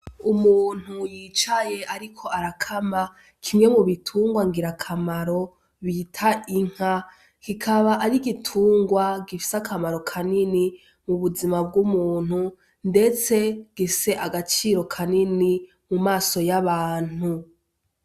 Umuntu yicaye, ariko arakama kimwe mu bitungwa ngira akamaro bita inka kikaba ari igitungwa gifise akamaro kanini mu buzima bw'umuntu, ndetse gise agaciro kanini mu maso y'abantu.